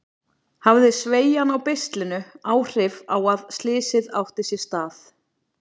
Hafði sveigjan á beislinu áhrif á að slysið átti sér stað?